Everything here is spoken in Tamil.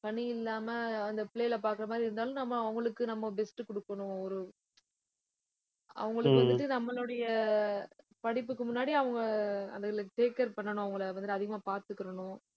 பணியில்லாம அந்த பிள்ளைகளை பார்க்கிற மாதிரி இருந்தாலும் நம்ம அவுங்களுக்கு நம்ம best அ குடுக்கணும் ஒரு அவுங்களுக்கு வந்துட்டு நம்மளுடைய படிப்புக்கு முன்னாடி அவுங்க அதுகளை take care பண்ணனும் அவுங்கள வந்து அதிகமா பாத்துக்கணும்